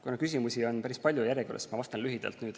Kuna küsimusi on päris palju järjekorras, siis ma vastan lühidalt.